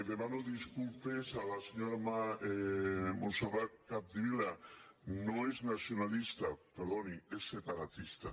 demano disculpes a la senyora montserrat capdevila no és nacionalista perdoni és separatista